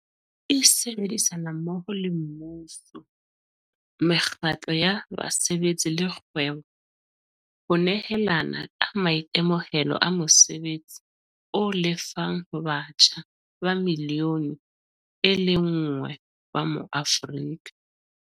e sebedisana mmoho le mmuso, mekgatlo ya basebetsi le kgwebo ho nehelana ka maitemohelo a mosebetsi o lefang ho batjha ba milione e lenngwe ba maAforika